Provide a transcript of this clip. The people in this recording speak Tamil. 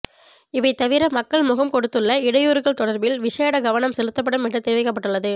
இவை தவிர மக்கள் முகம் கொடுத்துள்ள இடையூறுகள் தொடர்பில் விசேட கவனம் செலுத்தப்படும் என்று தெரிவிக்கப்பட்டுள்ளது